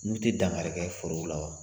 N'u tɛ dankari kɛ forow la wa?